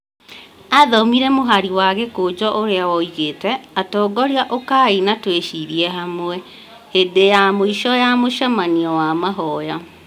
athomire mũhari wa gĩkũnjũ ũrĩa woigĩte, atongoria "ũkaai na tũĩcirie hamwe" hĩndĩ ya mũico ya mũcemanio wa mahoya.